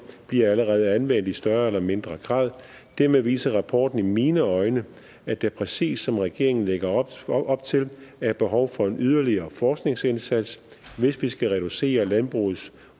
bliver allerede anvendt i større eller mindre grad dermed viser rapporten i mine øjne at der præcis som regeringen lægger op til op til er behov for en yderligere forskningsindsats hvis vi skal reducere landbrugets